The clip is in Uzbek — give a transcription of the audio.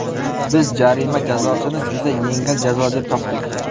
Biz jarima jazosini juda yengil jazo deb topdik.